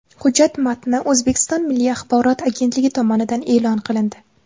Hujjat matni O‘zbekiston Milliy axborot agentligi tomonidan e’lon qilindi .